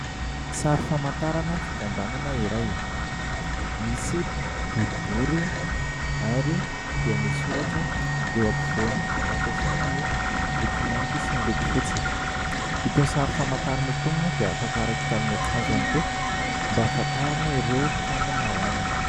Sary famantarana fikambanana iray, misy boribory ary dia misy soratra eo ampovoany. Nampiasaina ny loko mainty sy ny loko fotsy, itony sary famantarana itony moa dia afaka araikitra amin'ny akanjo ihany koa mba hahafantarana ireo mpikambana ao aminy.